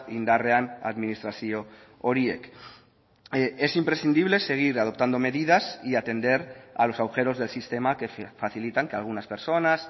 indarrean administrazio horiek es imprescindible seguir adoptando medidas y atender a los agujeros del sistema que facilitan que algunas personas